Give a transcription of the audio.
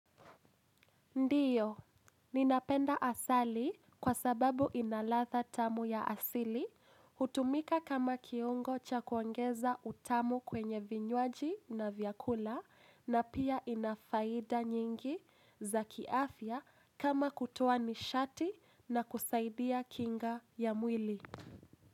Ndiyo, ninapenda asali kwa sababu ina ladha tamu ya asili, hutumika kama kiungo cha kuongeza utamu kwenye vinywaji na vyakula na pia ina faida nyingi za kiafya kama kutoa nishati na kusaidia kinga ya mwili.